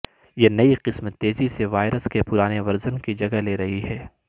یہ نئی قسم تیزی سے وائرس کے پرانے ورژن کی جگہ لے رہی ہے